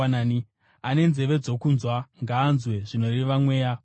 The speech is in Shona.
Ane nzeve dzokunzwa ngaanzwe, zvinoreva Mweya kukereke.